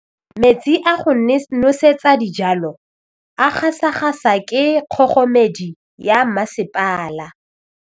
Metsi a go nosetsa dijalo a gasa gasa ke kgogomedi ya masepala.